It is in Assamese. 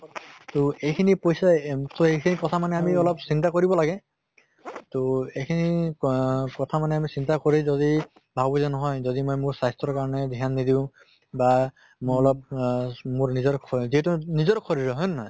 তʼ এইকিনি পইছা এম so সিখিনি কথা মানে আমি চিন্তা কৰিব লাগে। তʼ এইখিনি পা কথা মানে আমি চিন্তা কৰি যদি ভাবো যে নহয় মোৰ স্বাস্থ্য়ৰ কাৰণে ধ্য়ান নিদিও বা মই অলপ আহ মোৰ নিজৰ শৰীৰ যিহেতু নিজৰ শৰীৰ হয় নে নহয়